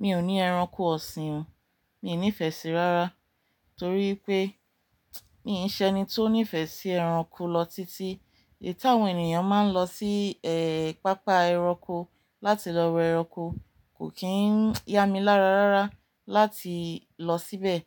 Mi ò ní ẹranko ọ̀sìn, mi nífẹṣi rárá torí pé mi ò ṣe ẹni tó nífẹsí ẹranko lọ títí. Èyita àwọn ènìyàn máa ń lọ sí, ẹ, pápá ẹranko láti lọ wo ẹranko kò kí ń ya mi lára rárá láti lọ síbẹ̀.